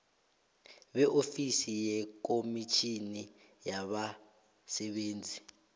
beofisi yekomitjhini yabasebenzi